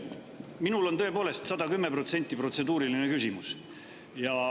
Minul on tõepoolest 110% protseduuriline küsimus.